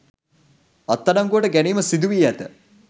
අත්අඩංගුවට ගැනීම සිදුවී ඇත.